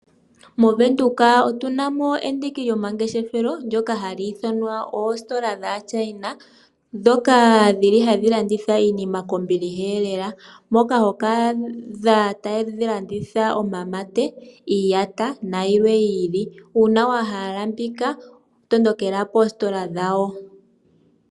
MoWindhoek otuna mo endiki lyomangeshefelo ndyoka ha li ithwana oositola dhaaChina. Dhoka dhili hadhi landitha iinima kombiliha lela. Moka hoka adha tadhi landitha omamate, iiyata nayilwe yi ili. Uuna wahala mbika tondokela koositola dhawo.